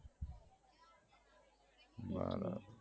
એટલે